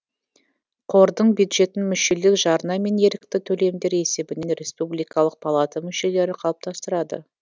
қордың бюджетін мүшелік жарна мен ерікті төлемдер есебінен республикалық палата мүшелері қалыптастырады